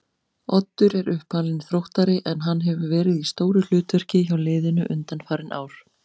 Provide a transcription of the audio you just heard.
Oddur er uppalinn Þróttari en hann hefur verið í stóru hlutverki hjá liðinu undanfarin ár.